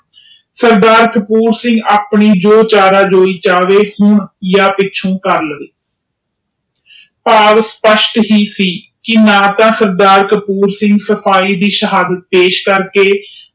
ਸਰਦਾਰ ਕਪੂਰ ਸਿੰਘ ਆਪਣੇ ਜੋ ਚਾਰ ਹੋਈ ਜਾਵੇ ਹੁਣ ਜਾ ਪਿੱਛੋਂ ਕਰ ਲਾਵੇ ਭਾਵ ਇਹ ਸੀ ਕਿ ਸਰਦਾਰ ਕਪਊਸਿੰਘ ਨਾ ਤਾ ਸਿਪਾਹੀ ਦੇ ਸਿਹਦਾਤ ਪੇਸ਼ ਕਰਕੇ